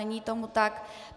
Není tomu tak.